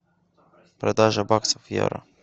продажа баксов в евро